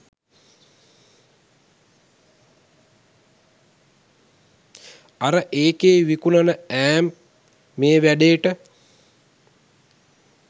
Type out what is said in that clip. අර එකෙ විකුනන ඈම්ප් මේ වෑඩේට